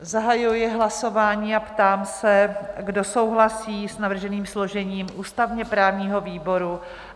Zahajuji hlasování a ptám se, kdo souhlasí s navrženým složením ústavně-právního výboru?